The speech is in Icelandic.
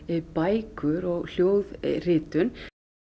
bækur og hljóðritun